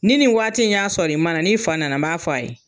Nin ni waati in y'a sɔrɔ i ma na n'i fa nana n b'a f'a ye.